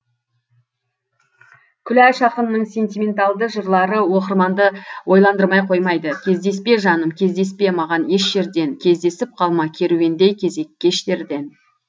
күләш ақынның сентименталды жырлары оқырманды ойландырмай қоймайды кездеспе жаным кездеспе маған еш жерден кездесіп қалма керуендей кезек кештерден